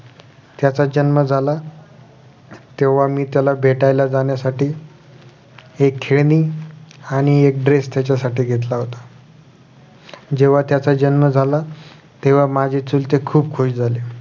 त्यांचा जन्म झाला तेव्हा मी त्याला भेटायला जाण्यासाठी एक खेळणी आणि एक dress त्याच्यासाठी घेतला होता जेव्हा त्याच जन्म झाला तेव्हा माझे चुलते खुप खुश झाले